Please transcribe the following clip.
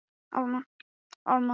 Betanía, hvað er í dagatalinu í dag?